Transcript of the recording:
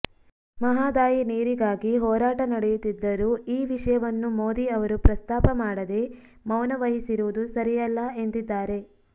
ಮಹಾದಾಯಿ ನೀರಿಗಾಗಿ ಹೋರಾಟ ನಡೆಯುತ್ತಿದ್ದರೂ ಈ ವಿಷಯವನ್ನು ಮೋದಿ ಅವರು ಪ್ರಸ್ತಾಪ ಮಾಡದೇ ಮೌನ ವಹಿಸಿರುವುದು ಸರಿಯಲ್ಲ ಎಂದಿದ್ದಾರೆ